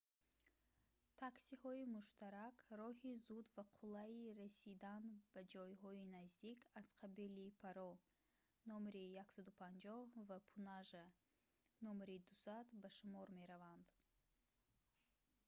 таксиҳои муштарак роҳи зуд ва қулайи расидан ба ҷойҳои наздик аз қабили паро №150 ва пунажа № 200 ба шумор мераванд